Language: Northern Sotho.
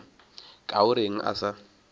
ka o reng a sa